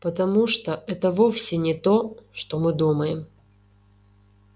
потому что это вовсе не то что мы думаем